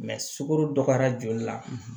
sukoro dɔgɔyara joli la